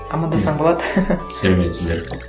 амандассаң болады сәлеметсіздер